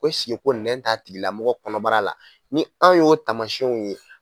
Ko ko nɛn t'a tigilamɔgɔ kɔnɔbara la, ni anw y'o taamasiɲɛnw ye